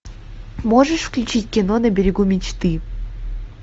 можешь включить кино на берегу мечты